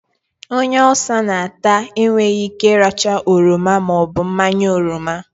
Onye Ulsa n'ata enweyi Ike iracha oroma maobu mmanya oroma